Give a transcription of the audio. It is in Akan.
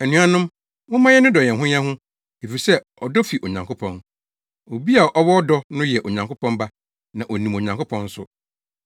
Anuanom, momma yɛnnodɔ yɛn ho yɛn ho efisɛ ɔdɔ fi Onyankopɔn. Obi a ɔwɔ ɔdɔ no yɛ Onyankopɔn ba na onim Onyankopɔn nso.